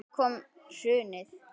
Svo kom hrunið.